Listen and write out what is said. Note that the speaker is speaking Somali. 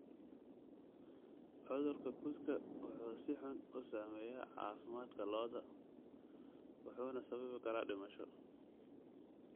Cudurka kudka wuxuu si xun u saameeyaa caafimaadka lo'da wuxuuna sababi karaa dhimasho.